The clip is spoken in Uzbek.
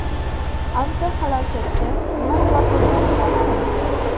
Avtohalokatga nima sabab bo‘lgani noma’lum.